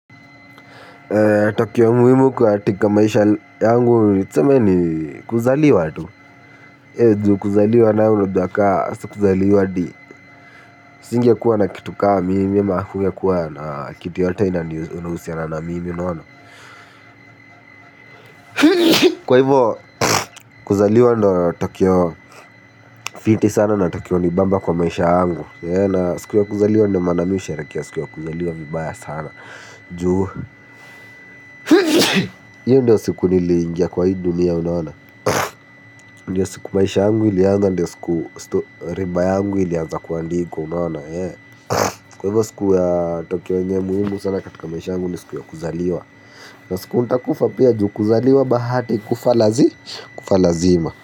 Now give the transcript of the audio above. Tukio muhimu kwa katika maisha yangu tuseme ni kuzaliwa tu. Eeh ju kuzaliwa nayo unajua ka sikuzaliwa hadi singekuwa na kitu ka mimi ama hakungekua na kitu yoyote inahusiana na mimi unaona. Kwa hivo kuzaliwa ndo tukio fiti sana na tukio hunibamba kwa maisha yangu. Siku ya kuzaliwa ndio maana mi husherehekea siku ya kuzaliwa vibaya sana. Ju iyo ndio siku niliingia kwa hii dunia unaona. Ndiyo siku maisha yangu ilianza ndiyo siku reba yangu ilianza kuandikwa unaona. Kwa hivyo siku ya tukio yenye muhimu sana katika maisha yangu ni siku ya kuzaliwa. Na siku nitakufa pia juu kuzaliwa bahati kufa lazi kufa lazima.